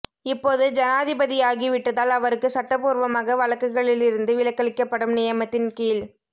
இப்போது ஜனாதிபதியாகி விட்டதால் அவருக்கு சட்டபூர்வமாக வழக்குகளிலிருந்து விலக்களிக்கப்படும் நியமத்தின் கீழ்